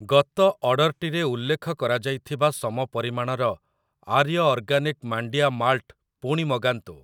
ଗତ ଅର୍ଡ଼ର୍‌‌ଟିରେ ଉଲ୍ଲେଖ କରାଯାଇଥିବା ସମ ପରିମାଣର ଆର୍ୟ ଅର୍ଗାନିକ ମାଣ୍ଡିଆ ମାଲ୍ଟ ପୁଣି ମଗାନ୍ତୁ ।